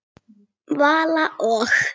Vala og